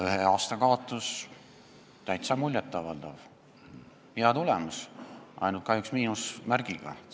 Ühe aasta kaotus on täiesti muljet avaldav, hea tulemus, aga kahjuks miinusmärgiga.